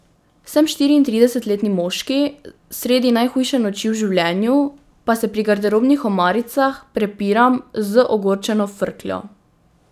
Sem štiriintridesetletni moški sredi najhujše noči v življenju, pa se pri garderobnih omaricah prepiram z ogorčeno frkljo.